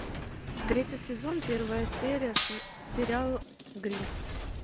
третий сезон первая серия сериал гримм